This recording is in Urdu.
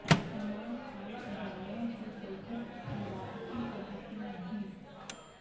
عمران خان اداروں کی کرکٹ کی واپسی کے حق میں نہیں